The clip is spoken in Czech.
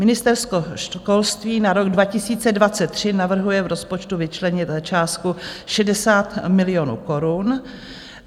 Ministerstvo školství na rok 2023 navrhuje v rozpočtu vyčlenit částku 60 milionů korun.